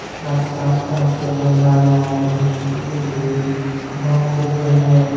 गाझ के आसपास जंगल झाड़ियां हैं बहुत सी लगी हुई वैन दिख रही है।